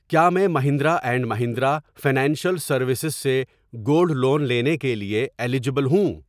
کیا میں Mahindra and Mahindra financial services سے گولڈ لون لینے کے لیے ایلجیبل ہوں؟